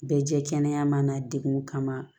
Bɛɛ jɛ kɛnɛ ma degun kama